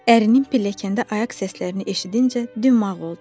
Ərinin pilləkəndə ayaq səslərini eşidincə dümağ oldu.